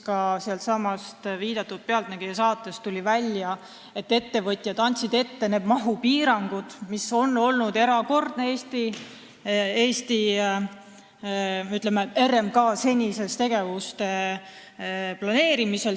Ka sellestsamast "Pealtnägija" saatest tuli välja, et ettevõtjad andsid ette mahupiirangud, mis on olnud erakordne, ütleme, RMK senise tegevuse planeerimisel.